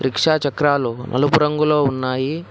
Rickshaw చక్రాలు నలుపు రంగులో ఉన్నాయి.